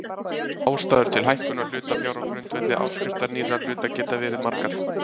Ástæður til hækkunar hlutafjár á grundvelli áskriftar nýrra hluta geta verið margar.